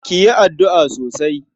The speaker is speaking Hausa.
Ki yi addu'a sosai.